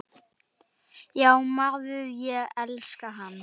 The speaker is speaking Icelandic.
Já maður, ég elska hann.